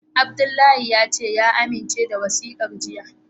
Abdullahi ya amince da wasikar jiya.